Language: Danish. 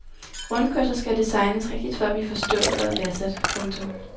Rundkørsler skal designes rigtigt for at blive forstået og værdsat. punktum